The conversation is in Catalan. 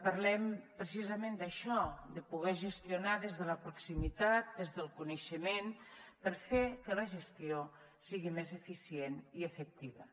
parlem precisament d’això de poder gestionar des de la proximitat des del coneixement per fer que la gestió sigui més eficient i efectiva